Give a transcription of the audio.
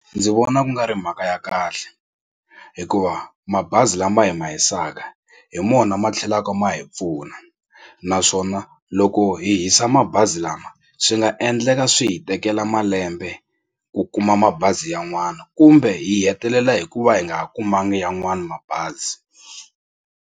Ndzi vona ku nga ri mhaka ya kahle hikuva mabazi lama hi ma hisaka hi mona ma tlhelaka ma hi pfuna naswona loko hi hisa mabazi bazi lama swi nga endleka swi hi tekela malembe ku kuma mabazi yan'wana kumbe hi hetelela hi ku va hi nga ha kumanga yan'wana mabazi.